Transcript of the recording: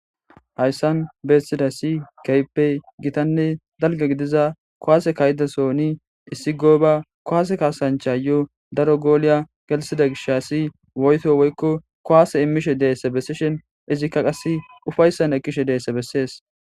Hayssan bessizays keehi gitanne dalga gidiza kuwaase kaa7izason issi gooba kuwwase kaassanchay daro goole gelthida gishshas daro woyto ekkishe gidishi izikka upayssan kkizaysa besses.